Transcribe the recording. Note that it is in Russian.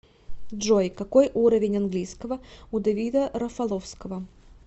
джой какой уровень английского у давида рафаловского